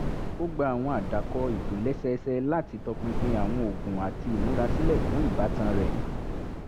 ó gba àwọn àdàkọ ìtòlẹ́sẹẹsẹ láti tọpinpin àwọn oògùn àti ìmúrasílẹ̀ fún ìbátan rẹ̀